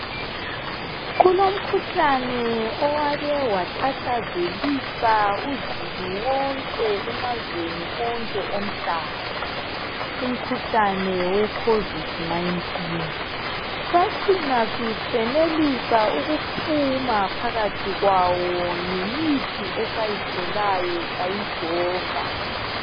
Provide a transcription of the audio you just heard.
Kulomkhuhlane owake watatazelisa uzulu wonke emazweni onke omhlaba, umkhuhlane we khovidi nayintini. Sacina sisenelisa ukuphuma phakathi kwawo ngemithi esayitholayo sayyijova.